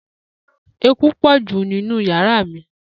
Eku po ju ninu yara mi.